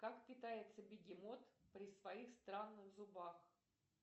как питается бегемот при своих странных зубах